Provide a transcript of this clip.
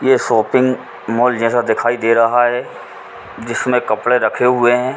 यह shopping mall जैसा दिखाई दे रहा है। जिसमे कपड़े रखे हुए है।